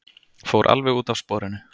Fór alveg út af sporinu!